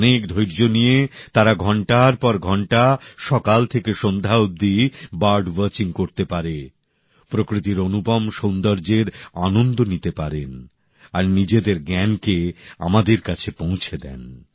অনেক ধৈর্য নিয়ে তারা ঘন্টার পর ঘন্টা সকাল থেকে সন্ধ্যা অবধি বার্ড ওয়াচিং করতে পারেন প্রকৃতির অনুপম সৌন্দর্যের আনন্দ নিতে পারে আর নিজেদের জ্ঞানকে আমাদের কাছে পৌঁছে দেয়